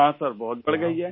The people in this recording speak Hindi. हाँ सर बहुत बढ़ गई है